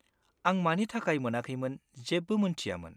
आं मानि थाखाय मोनाखैमोन जेबो मोन्थियामोन।